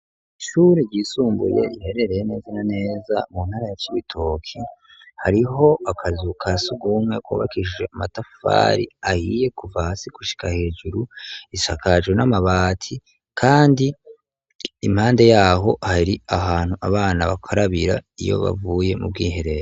Ishure ryisumbuye riherereye neza na neza mu ntara ya Cibitoke, hariho akazu ka sugumwe kubakishije amatafari ahiye kuva hasi gushika hejuru, risakajwe n'amabati kandi impande yaho hari ahantu abana bakarabira iyo bavuye mu bwiherero.